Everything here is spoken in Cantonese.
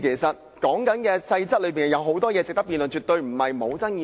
《修訂規則》有很多細節值得辯論，絕非不具爭議性。